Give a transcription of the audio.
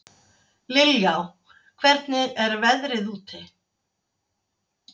Liljá, hvernig er veðrið úti?